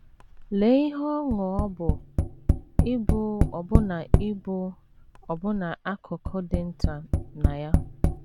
Lee ihe ọṅụ ọ bụ ịbụ ọbụna ịbụ ọbụna akụkụ dị nta na ya!